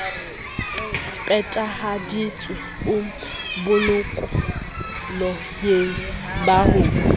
phethahaditswe o bolokolohing ba ho